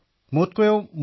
প্ৰধানমন্ত্ৰীঃ চাব্বাছ